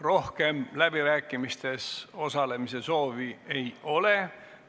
Rohkem läbirääkimistes osalemise soovi ei ole.